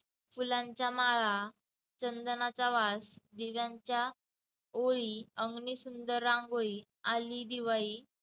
'फुलांच्या माळा, चंदनाचा वास, दिव्यांच्या ओळी, अंगणी सुंदर रांगोळी, आली दिवाळी'